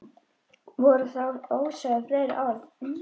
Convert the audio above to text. Voru þá ósögð fleiri orð.